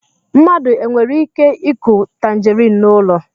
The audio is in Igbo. Mmadụ e nwere ike ịkụ tangerine n'ụlọ